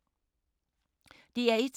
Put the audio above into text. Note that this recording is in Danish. DR1